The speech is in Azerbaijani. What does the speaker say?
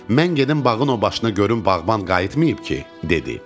Mən gedim bağın o başına görüm bağban qayıtmayıb ki, dedi.